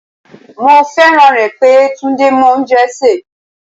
Mo fẹ́ràn rẹ̀ pé Túndé mọ oúnjẹ sè.